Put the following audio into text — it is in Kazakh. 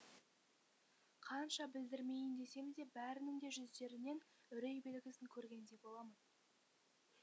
қанша білдірмейін десем де бәрінің де жүздерінен үрей белгісін көргендей боламын